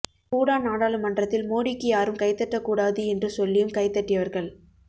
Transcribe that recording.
பூடான் நாடாளுமன்றத்தில் மோடிக்கு யாரும் கைதட்டக் கூடாது என்று சொல்லியும் கைதட்டியவர்கள்